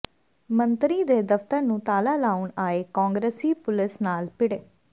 ਮੰਤਰੀ ਦੇ ਦਫਤਰ ਨੂੰ ਤਾਲਾ ਲਾਉਣ ਆਏ ਕਾਂਗਰਸੀ ਪੁਲਸ ਨਾਲ ਭਿੜੇ